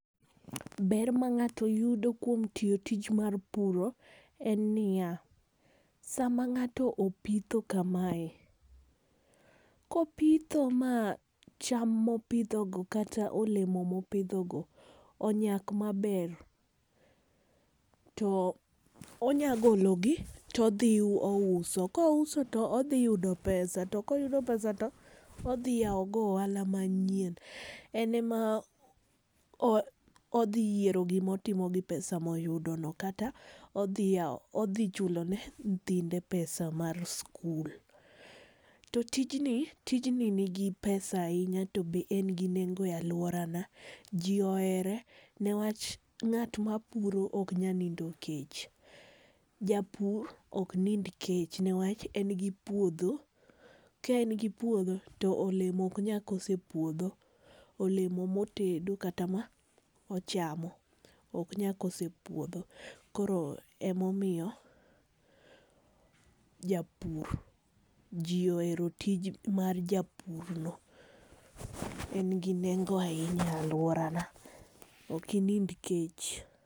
Ber ma ng'ato yudo kuom tiyo tich mar puro en niya, sama ng'ato opitho kamae, kopitho ma cham mopidhogo kata olemo mopidhogo onyak maber, to onya gologi, todhi ouso. Kouso to odhi yudo pesa, to koyudo pesa to odhi yawogo ohala manyien. En ema odhi yiero gima otimo gi pesa ma oyudono kata odhi chulone nyithinde pesa mar skul. To tijni, tijni nigi pesa ahinya to be en gi nengo e alworana ,jii ohere ne wach ng'ama puro ok nyal nindo kech. Japur ok nind kech ne wach en gi puodho, ka en gi puodho, to olemo ok nyal koso e puodho. Olemo motedo kata ma ochamo ok nyal koso e puodho, koro ema omiyo japur, ji ohero tij mar japurno ,en gi nengo ahinya e alworana . Ok inind kech.